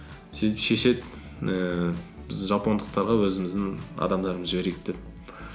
сөйтіп шешеді ііі біз жапондықтарға өзіміздің адамдарымызды жіберейік деп